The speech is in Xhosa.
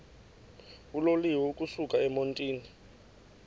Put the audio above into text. uloliwe ukusuk emontini